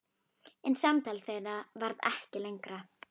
En samtal þeirra varð ekki lengra.